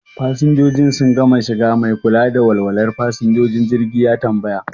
Fasinjojin sun gama shiga? Mai kula da walwalar fasinjojin jirgi ya tambaya.